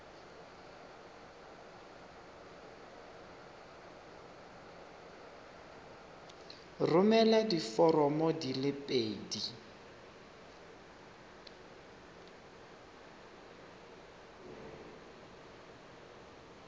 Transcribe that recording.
romela diforomo di le pedi